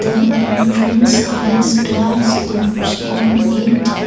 a entrance has glass doors on it.